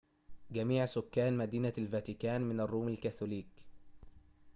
جميع سكان مدينة الفاتيكان من الروم الكاثوليك